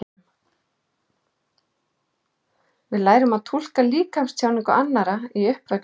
Við lærum að túlka líkamstjáningu annarra í uppvextinum.